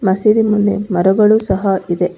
ಮಸೀದಿ ಮನೆ ಮರಗಳು ಸಹ ಇದೆ.